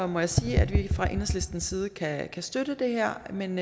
må jeg sige at vi fra enhedslistens side kan støtte det her men